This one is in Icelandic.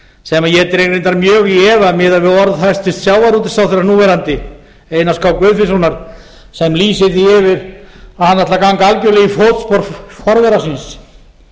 sem ég dreg reyndar mjög í efa miðað við orð hæstvirts sjávarútvegsráðherra núverandi einars k guðfinnssonar sem lýsir því yfir að hann ætli að ganga algerlega í fótspor forvera síns